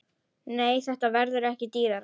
Nei, þetta verður ekki dýrara.